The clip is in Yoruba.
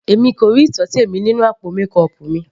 Èmi kò rí ìtọ́tẹ̀ mi nínú àpò mékọọpù mi.